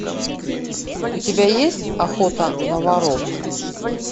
у тебя есть охота на воров